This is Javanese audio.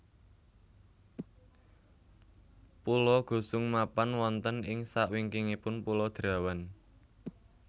Pulo Gusung mapan wonten ing sak wingikingipun Pulo Derawan